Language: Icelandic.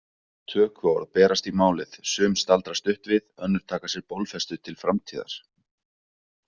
Tökuorð berast í málið, sum staldra stutt við, önnur taka sér bólfestu til framtíðar.